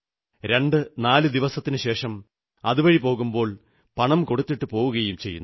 24 നാളിനു ശേഷം അതുവഴി പോകുമ്പോൾ പണം കൊടുത്തിട്ടു പോകുകയും ചെയ്യുന്നു